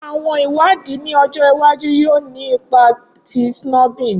Awọn iwadii ni ọjọ iwaju yoo ni ipa ti snubbing